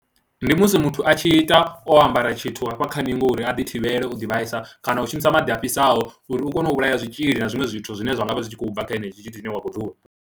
Ndi musi muthu a tshi ita o ambara tshithu hafha kha ningo uri a ḓi thivhele u ḓivhaisa kana u shumisa maḓi a fhisaho uri u kone u vhulaya zwitzhili na zwiṅwe zwithu zwine zwa nga vha zwi tshi khou bva kha henetsho tshithu tshine wa khou ṱhuvha.